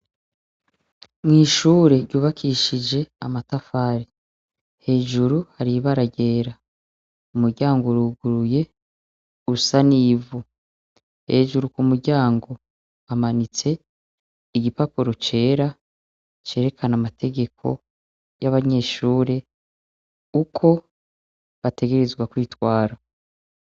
Mw'ishure ryubakishije amatafari, hejuru har'ibara ryera umuryango uruguruye usa n'ivu, hejuru ku muryango hamanitse igipapuro cera cerekana amategeko y'abanyeshure uko bategerezwa kwitwara.